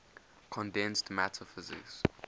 condensed matter physics